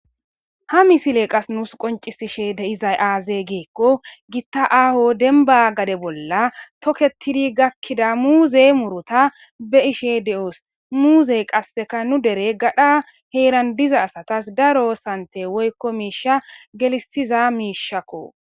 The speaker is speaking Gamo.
Ha misiley qase nuusi qoncisishe de'izay aaze gikon Gita aaho demba gade bolla toketidi gakida muuze muruta be'ashe de'os. Muuzey qaseka nu dere gadha heran diza asatas daro sante woyko misha gelisiza mishako.